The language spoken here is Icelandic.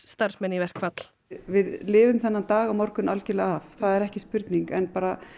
starfsmenn í verkfall við lifum þennan dag á morgun algjörlega af það er ekki spurning en